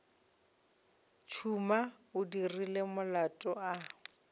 tšhuma o dirile molato a